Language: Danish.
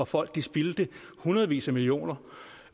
folk spildte i hundredvis af millioner